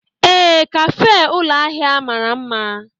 Ee, kafe ụlọ ahịa mara mma.